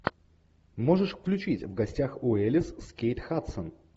можешь включить в гостях у элис с кейт хадсон